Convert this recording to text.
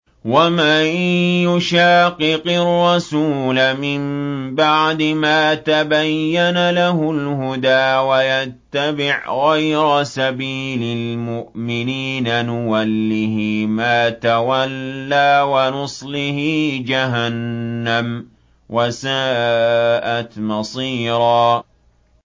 وَمَن يُشَاقِقِ الرَّسُولَ مِن بَعْدِ مَا تَبَيَّنَ لَهُ الْهُدَىٰ وَيَتَّبِعْ غَيْرَ سَبِيلِ الْمُؤْمِنِينَ نُوَلِّهِ مَا تَوَلَّىٰ وَنُصْلِهِ جَهَنَّمَ ۖ وَسَاءَتْ مَصِيرًا